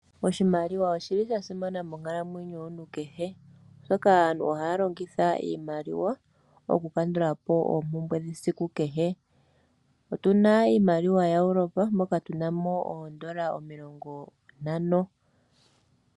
Oshimaliwa oshili shasimana monkalamwenyo yomuntu kehe oshoka aantu ohaya longitha iimaliwa mokukandula po oombumbwe shesiku kehe. Otuna iimaliwa yaEurope moka tuna mo oondola omilongo ntano.